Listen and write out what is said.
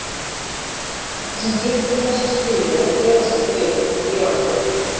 Það sem gildir í þessu stríði er að gefast ekki upp en gefast upp.